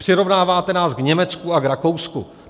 Přirovnáváte nás k Německu a k Rakousku.